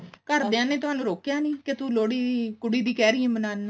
ਘਰਦਿਆਂ ਨੇ ਥੋਨੂੰ ਰੋਕਿਆ ਨੀ ਕੇ ਤੂੰ ਲੋਹੜੀ ਕੁੜੀ ਦੀ ਕਿਹ ਰਹੀ ਹਾਂ ਮਨਾਉਣ ਨੂੰ